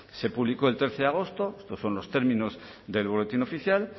se publicó el trece de agosto estos son los términos del boletín oficial